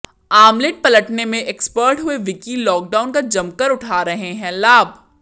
omelette पलटने में expert हुए विक्की लॉकडाउन का जमकर उठा रहे हैं लाभ